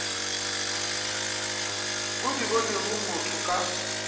o di bonego motho ka